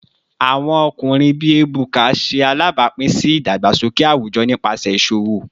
Awọn ọkunrin bii Ebuka ṣe alabapin si idagbasoke awujọ nipasẹ iṣowo